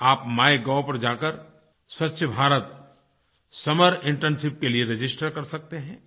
आप माइगोव पर जाकर स्वछ भारत समर इंटर्नशिप के लिए रजिस्टर कर सकते हैं